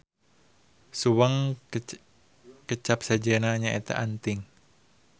Suweng kecap sejenna nyaeta anting